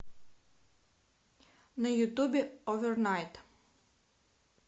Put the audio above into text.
на ютубе овернайт